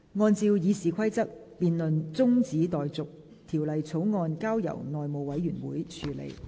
按照《議事規則》，辯論中止待續，條例草案交由內務委員會處理。